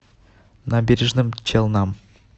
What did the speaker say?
набережным челнам